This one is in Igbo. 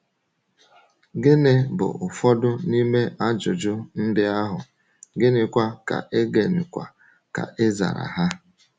Gịnị bụ ụfọdụ n’ime ajụjụ ndị ahụ, gịnịkwa ka e gịnịkwa ka e zara ha?